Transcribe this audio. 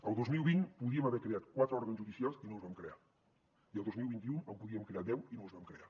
el dos mil vint podíem haver creat quatre òrgans judicials i no els vam crear i el dos mil vint u en podíem crear deu i no els vam crear